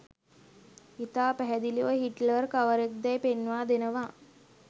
ඉතා පැහැදිලිව හිට්ලර් කවරෙක්දැයි පෙන්වා දෙනවා